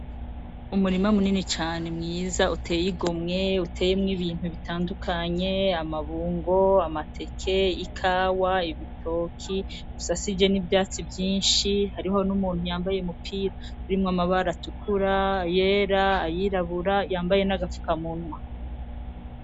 Umurima munini cane mwiza uteyigomwe uteyemwo ibintu bitandukanye, amabungo, amateke, ikawa, ibitoki bisashije n'ivyatsi vyinshi hariho n'umuntu yambaye umupira urimwo amabara atukura, ayera, ayirabura, yambaye n'agafukamunwa .